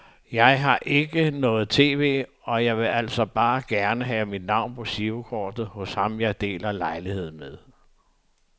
Jeg har ikke noget tv, og jeg ville altså bare gerne have mit navn på girokortet hos ham jeg deler lejlighed med.